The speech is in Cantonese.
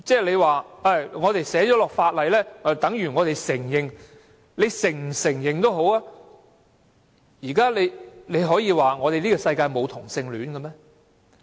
建制派議員說寫在法例裏就等於我們承認，他們是否承認也好，可以說世界上沒有同性戀嗎？